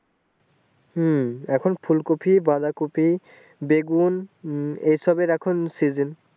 হম ফুলকপি বাঁধাকপি বেগুন উম এইসব এর এখন season